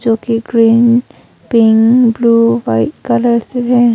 जो कि green pink blue white colour से है।